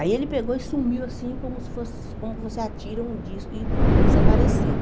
Aí ele pegou e sumiu assim, como se fosse, como se você atira um disco e desapareceu.